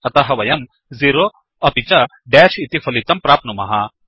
अतः वयम् 0 अपि च डेश् इति फलितं प्राप्नुमः